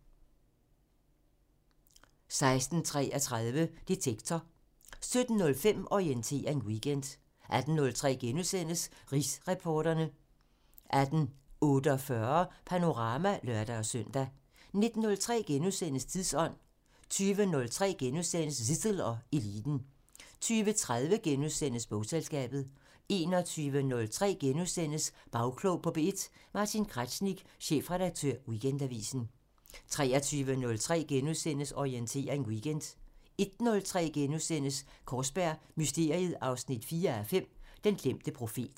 16:33: Detektor 17:05: Orientering Weekend 18:03: Rigsretsreporterne * 18:48: Panorama (lør-søn) 19:03: Tidsånd * 20:03: Zissel og Eliten * 20:30: Bogselskabet * 21:03: Bagklog på P1: Martin Kraznik, chefredaktør Weekendavisen * 23:03: Orientering Weekend * 01:03: Kaarsberg Mysteriet 4:5 – Den glemte profet *